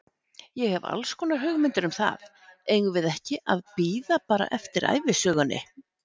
Ég hef allskonar hugmyndir um það, eigum við ekki að bíða bara eftir ævisögunni?